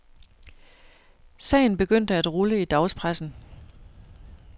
Sagen begyndte at rulle i dagspressen.